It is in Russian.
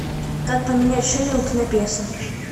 как поменять шиллинг на песо